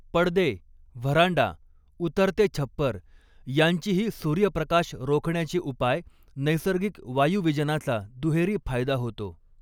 पडदे, व्हरांडा, उतरते छप्पर यांचीही सूर्यप्रकाश रोखण्याचे उपाय नैसर्गिक वायुवीजनाचा दुहेरी फायदा होतो.